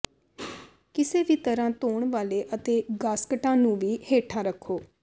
ਕਿਸੇ ਵੀ ਤਰ੍ਹਾਂ ਧੋਣ ਵਾਲੇ ਅਤੇ ਗਾਸਕਟਾਂ ਨੂੰ ਵੀ ਹੇਠਾਂ ਰੱਖੋ